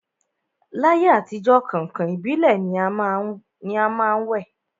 L'ayé àtijọ́, kàǹkàn ìbílẹ̀ ni a má ń wẹ̀